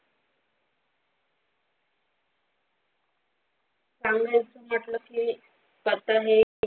सांगण्याचा म्हटलं की आता हे